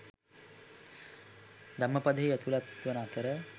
ධම්මපදයෙහි ඇතුළත් වන අතර